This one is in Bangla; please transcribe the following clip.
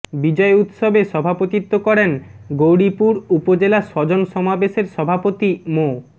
বিজয় উৎসবে সভাপতিত্ব করেন গৌরীপুর উপজেলা স্বজন সমাবেশের সভাপতি মো